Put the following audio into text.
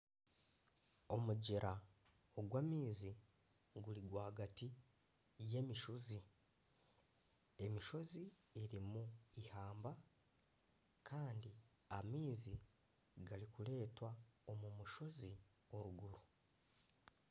Omugyera ogw'amaizi guri rwagati y'emishozi, emishozi erimu eihamba kandi amaizi garikureetwa omu mushozi oruguru.